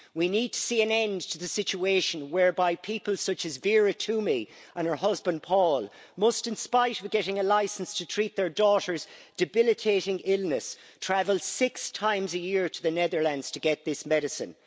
We need to see an end to the situation whereby people such as Vera Twomey and her husband Paul must, in spite of getting a licence to treat their daughter's debilitating illness, travel six times a year to the Netherlands to get this medicine.